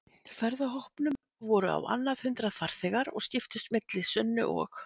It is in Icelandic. ferðahópnum voru á annað hundrað farþegar og skiptust milli Sunnu og